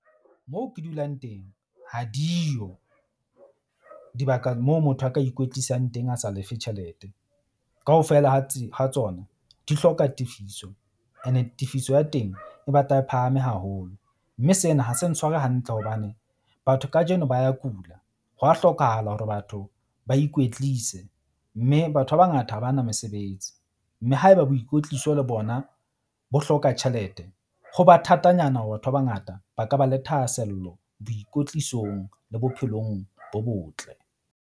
Moo ke dulang teng ha di yo dibaka moo motho a ka ikwetlisang teng a sa lefe tjhelete. Kaofela ha ha tsona di hloka tefiso ene tefiso ya teng e batla e phahame haholo. Mme sena ha se ntshware hantle hobane batho kajeno ba ya kula. Hwa hlokahala hore batho ba ikwetlise. Mme batho ba bangata ha ba na mesebetsi, mme haeba boikwetliso le bona bo hloka tjhelete, ho ba thatanyana hore batho ba bangata ba ka ba le thahasello boikwetlisong le bophelong bo botle.